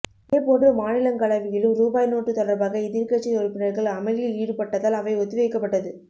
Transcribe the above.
இதேபோன்று மாநிலங்களவையிலும் ருபாய் நோட்டு தொடர்பாக எதிர்கட்சி உறுப்பினர்கள் அமளியில் ஈடுபட்டதால் அவை ஒத்திவைக்கப்பட்டது